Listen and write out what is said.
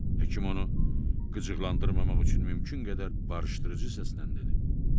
Həkim onu qıcıqlandırmamaq üçün mümkün qədər barışdırıcı səslə dedi.